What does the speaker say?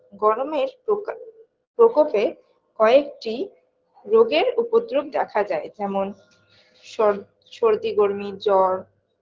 গরমের প্রকা প্রকোপে কয়েকটি রোগের উপদ্রপ দেখা যায় যেমন সর সর্দি গর্মি জ্বর